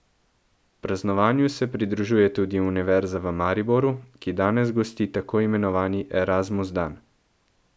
Praznovanju se pridružuje tudi Univerza v Mariboru, ki danes gosti tako imenovani Erasmus dan.